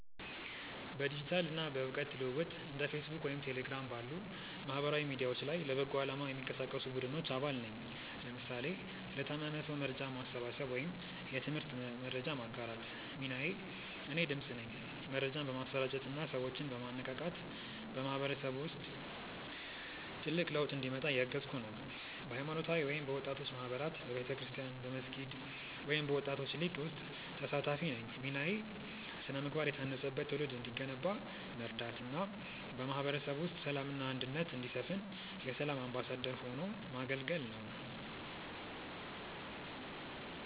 በዲጂታል እና በእውቀት ልውውጥ እንደ ፌስቡክ ወይም ቴሌግራም ባሉ ማህበራዊ ሚዲያዎች ላይ ለበጎ አላማ የሚንቀሳቀሱ ቡድኖች አባል ነኝ (ለምሳሌ ለታመመ ሰው መርጃ ማሰባሰብ ወይም የትምህርት መረጃ ማጋራት) ሚናዬ እኔ "ድምፅ" ነኝ። መረጃን በማሰራጨት እና ሰዎችን በማነቃቃት በማህበረሰቡ ውስጥ ትልቅ ለውጥ እንዲመጣ እያገዝኩ ነው። በሃይማኖታዊ ወይም በወጣቶች ማህበራት በቤተክርስቲያን፣ በመስጊድ ወይም በወጣቶች ሊግ ውስጥ ተሳታፊ ነኝ ሚናዬ ስነ-ምግባር የታነጸበት ትውልድ እንዲገነባ መርዳት እና በማህበረሰቡ ውስጥ ሰላም እና አንድነት እንዲሰፍን የ"ሰላም አምባሳደር" ሆኖ ማገልገል ነው